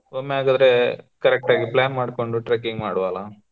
ಒಮ್ಮೆ ಹಾಗಾದ್ರೆ correct ಆಗಿ plan ಮಾಡಿಕೊಂಡು trekking ಮಾಡುವಲಾ.